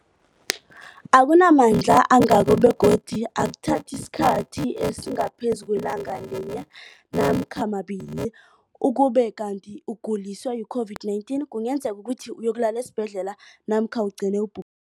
akuna mandla angako begodu akuthathi isikhathi esingaphezulu kwelanga linye namkha mabili, ukube kanti ukuguliswa yi-COVID-19 kungenza ukuthi uyokulala esibhedlela namkha ugcine ubhu